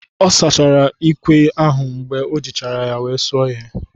Ọ sachara ikwè ahụ mgbe o jichara ya wee suo ihe.